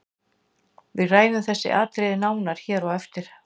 Við ræðum þessi atriði nánar hér á eftir.